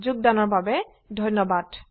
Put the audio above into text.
যোগদান কৰাৰ বাবে ধন্যবাদ